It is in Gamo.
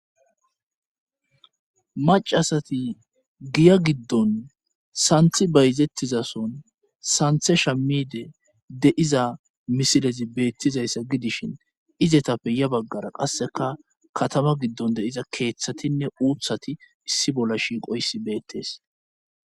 Macasati giya giddon santhi bayzettiza son santhe shamide de'iza misilezi beettiza issa gidishin izetappe ya baggara qasseka katama giddon de'iza keeththatinne uuthati issi bolla shiiqo issi beettees.